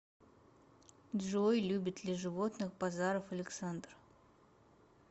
джой любит ли животных базаров александр